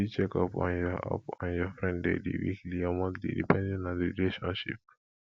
you fit check up on your up on your friend daily weekly or monthly depending on di relationship